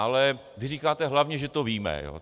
Ale vy říkáte: hlavně že to víme.